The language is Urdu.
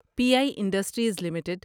P I industries limited